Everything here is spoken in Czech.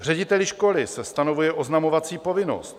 Řediteli školy se stanovuje oznamovací povinnost.